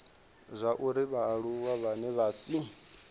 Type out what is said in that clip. zwauri vhaaluwa vhane vha si